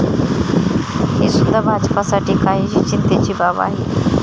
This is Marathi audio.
ही सुद्धा भाजपसाठी काहीशी चिंतेची बाब आहे.